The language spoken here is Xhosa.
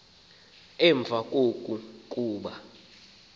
emva koko kuba